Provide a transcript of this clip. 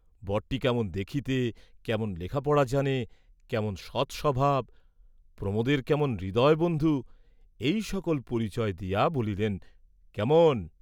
বরটি কেমন দেখিতে, কেমন লেখাপড়া জানে, কেমন সৎস্বভাব, প্রমোদের কেমন হৃদয় বন্ধু, এই সকল পরিচয় দিয়া বলিলেন কেমন?